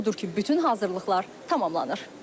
Odur ki, bütün hazırlıqlar tamamlanır.